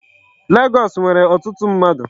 Legọọsị nwere ọtụtụ mmadụ.